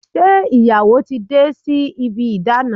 Ṣe ìyàwó ti dé sí ibi ìdána?